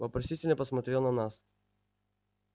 вопросительно посмотрел на нас